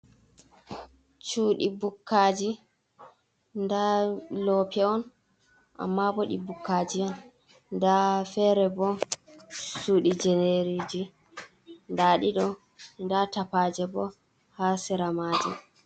Shudi bukkaji, nda lope on amma bo ɗi bukjaji on nda fere bo shudi jenerji, nda ɗiɗo da tapaje bo ha sera maji,